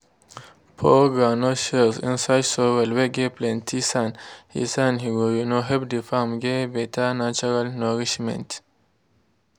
pour groundnut shells inside soil whey get plenty sand he sand he go um help the farm get better natural nourishment.